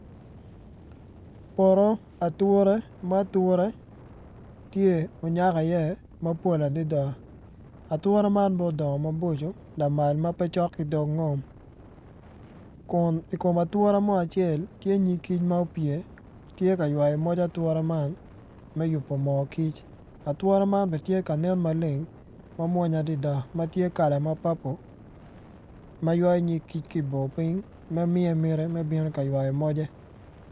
Poto ature ma ature tye onyak iye mapol adida atura man ma odongo maboco lamal ma pe cok ki dog ngom kun i kom atura mo acel tye nyig kic ma opye tye ka ywayo pig atura man me yubo moo kic atura man be tya ka nen maleng ma mwonya adida ma tye kala ma papo ma ywayo nyig kic ki i bor ping ma miye miti me bino ka ywayo moje